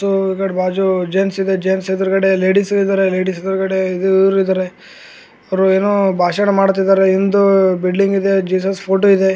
ಈ ಕಡೆ ಬಾಜು ಜೆಂಟ್ಸ್ ಜೆಂಟ್ಸ್ ಯದ್ರುಗಡೆ ಈ ಕಡೆ ಲೇಡಿಸ್ ಇದರ ಅವ್ರು ಏನೋ ಭಾಷಣ ಮಾಡ್ತಿದ್ದಾರೆ ಇದು ಬಿಲ್ಡಿಂಗ್ ಇದೇ ಜಿಸಸ್ ಫೋಟೋ ಇದೇ.